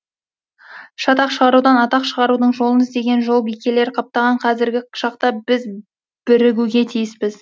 шатақ шығарудан атақ шығарудың жолын іздеген жолбикелер қаптаған қазіргі шақта біз бірігуге тиіспіз